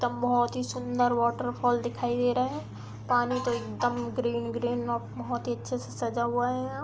एकदम बहोत ही सूंदर वॉटरफॉल दिखाई दे रहा है। पानी तो एकदम ग्रीन ग्रीन बहोत ही अच्छे से सजा हुआ है यहाँ।